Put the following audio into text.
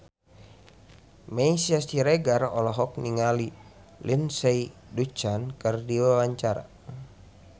Meisya Siregar olohok ningali Lindsay Ducan keur diwawancara